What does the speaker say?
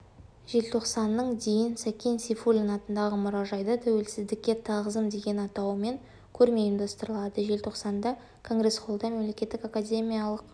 желтоқсанның дейін сәкен сейфуллин атындағы мұражайда тәуелсіздікке тағзым деген атауымен көрме ұйымдастырылады желтоқсанда конгресс-холлда мемлекеттік академиялық